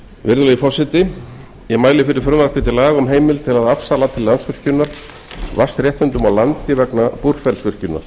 virðulegi forseti ég mæli fyrir frumvarpi til laga um heimild til að afsala til landsvirkjunar vatnsréttindum á landi vegna búrfellsvirkjunar